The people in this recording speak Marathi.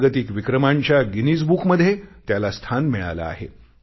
जागतिक विक्रमांच्या गिनीज बुकमध्ये त्याला स्थान मिळाले आहे